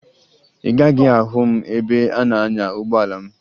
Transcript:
Ị gaghị ahụ m ebe m na-anya ụgbọala m